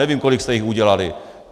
Nevím, kolik jste jich udělali.